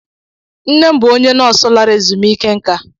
Nne m bụ onye nọọsụ lara ezumike nká.